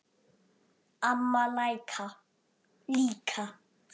Amma líka.